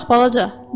Bura bax, balaca.